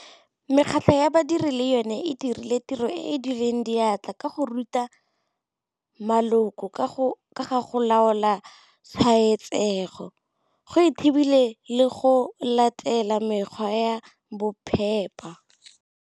Mekgatlho ya badiri le yone e dirile tiro e e duleng diatla ka go ruta maloko ka ga go laola tshwaetsego, go e thibela le go latela mekgwa ya bophepa.